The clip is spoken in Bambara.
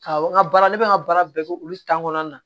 Ka n ka baara ne bɛ n ka baara bɛɛ kɛ olu kɔnɔna na